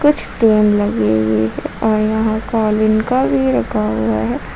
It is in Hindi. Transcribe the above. कुछ लगी हुई है और यहां का भी रखा हुआ है।